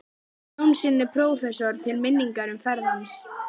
Jónssyni prófessor til minningar um ferð hans.